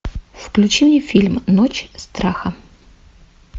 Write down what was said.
включи мне фильм ночь страха